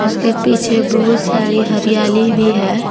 उसके पीछे बहुत सारी हरियाली भी है।